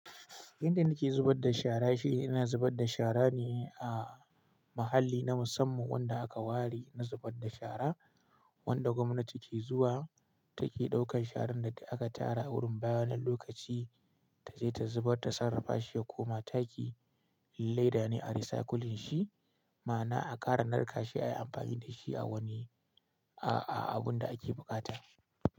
Inda nake zubar da shara shine ina zubar da shara ne a mahalli na musamman wanda aka ware na zubar da shara wanda gwamnati ke zuwa take ɗaukan sharan da aka tara wurin bayan wani lokaci taje ta zubar ta sarrafa shi ya koma taki leda ne a recycling shi ma ana a ƙara narka shi ayi amfani da shi a wani a a abun da ake buƙata.